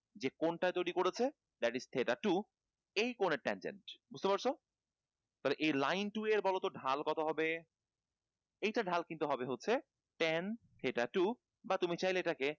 যে কোন করেছে two সেই কোণের time বুঝতে পারছ। এই line two এর বলতো ঢাল কি হবে? এইটার ঢাল কিন্তু হবে হচ্ছে ten theta two বা তুমি চাইলে এটাকে